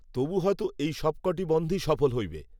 তবু হয়তো এই সব কয়টি বন‌ধই সফল হইবে